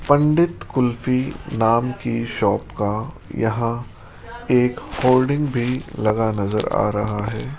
पंडित कुल्फी नाम की शॉप का यहां एक होर्डिंग भी लगा नजर आ रहा है।